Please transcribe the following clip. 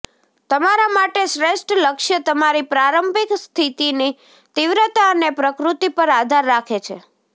તમારા માટે શ્રેષ્ઠ લક્ષ્ય તમારી પ્રારંભિક સ્થિતિની તીવ્રતા અને પ્રકૃતિ પર આધાર રાખે છે